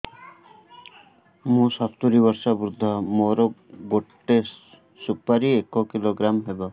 ମୁଁ ସତୂରୀ ବର୍ଷ ବୃଦ୍ଧ ମୋ ଗୋଟେ ସୁପାରି ଏକ କିଲୋଗ୍ରାମ ହେବ